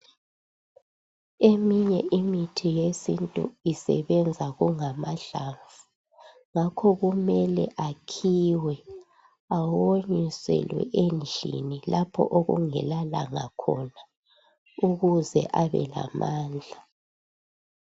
Eminye imithi yesintu isebenza kungamahlamvu ngakho kumele akhiwe awonyiselwe endlini lapho okungela langa khona ukuze abe lamandla